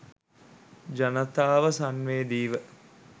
ජනතාව සංවේදීව